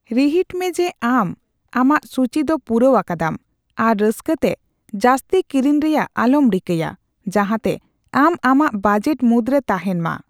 ᱨᱤᱦᱤᱴ ᱢᱮ ᱡᱮ ᱟᱢ ᱟᱢᱟᱜ ᱥᱩᱪᱤ ᱫᱚ ᱯᱩᱨᱟᱹᱣ ᱟᱠᱟᱫᱟᱢ ᱟᱨ ᱨᱟᱹᱥᱠᱟᱹᱛᱮ ᱡᱟᱹᱥᱛᱤ ᱠᱤᱨᱤᱧ ᱨᱮᱭᱟᱜ ᱟᱞᱚᱢ ᱨᱤᱠᱟᱹᱭᱼᱟ, ᱡᱟᱸᱦᱟᱛᱮ ᱟᱢ ᱟᱢᱟᱜ ᱵᱟᱡᱮᱴ ᱢᱩᱫᱨᱮ ᱛᱟᱦᱮᱸᱱ ᱢᱟ ᱾